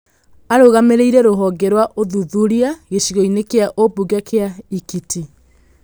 Arũgamĩrĩire rũhonge rwa ũthuthuria gĩcigo-inĩ kia ũmbunge kia Ekiti.